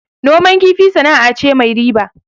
Noman kifi sana'a ce mai riba